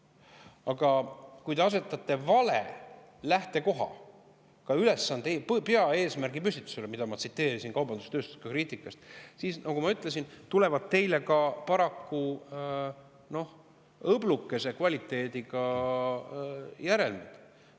Aga kui te asetate ülesande, peaeesmärgi püstituse valesse lähtekohta, nagu ma tsiteerisin kaubandus-tööstuskoja kriitikast, siis, nagu ma ka ütlesin, tulevad sellele paraku õblukese kvaliteediga järelmid.